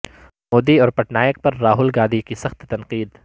مودی اور پٹنائک پر راہول گاندھی کی سخت تنقید